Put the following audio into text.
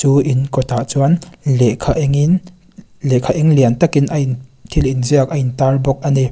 chu in kawtah chuan lehkha engin lehkha eng lian takin a in thil inziak a intar bawk a ni.